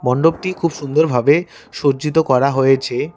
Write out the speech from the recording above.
মণ্ডপটি খুব সুন্দরভাবে সজ্জিত করা হয়েছে।